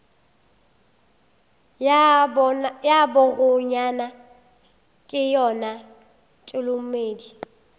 ya bakgonyana ke yona tholomedi